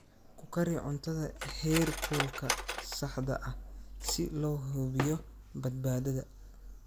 Ku kari cuntada heerkulka saxda ah si loo hubiyo badbaadada.